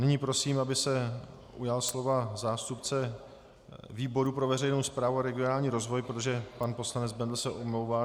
Nyní prosím, aby se ujal slova zástupce výboru pro veřejnou správu a regionální rozvoj, protože pan poslanec Bendl se omlouvá.